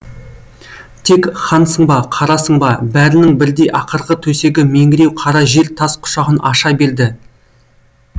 тек хансың ба қарасың ба бәрінің бірдей ақырғы төсегі меңіреу қара жер тас құшағын аша берді